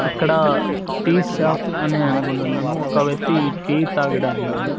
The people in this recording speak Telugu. ఇక్కడ టీ షాప్ అని అనుకుంటున్నాను ఒక వ్యక్తి టీ తాగడన్నాడు.